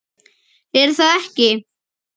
Sindri: Er það ekki?